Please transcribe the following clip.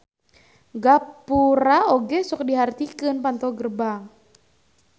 Gapura oge sok dihartikeun panto gerbang.